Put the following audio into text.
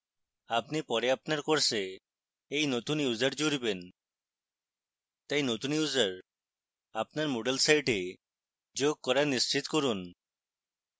আপনি পরে আপনার course you নতুন users জুড়বেন তাই নতুন users আপনার moodle site যোগ করা নিশ্চিত করুন